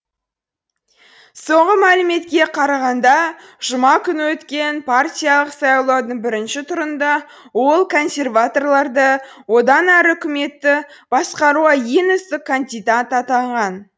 соңғы мәліметке қарағанда жұма күні өткен партиялық сайлаудың бірінші турында ол консерваторларды одан әрі үкіметті басқаруға ең үздік кандидат атанған